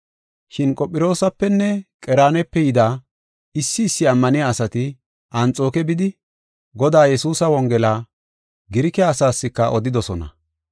Shin Qophiroosapenne Qereenape yida issi issi ammaniya asati Anxooke bidi, Godaa Yesuusa Wongela Girike asaaska odidosona.